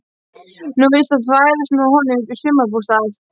Nóg er víst að þvælast með honum upp í sumarbústað.